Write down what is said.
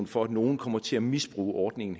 for at nogen kommer til at misbruge ordningen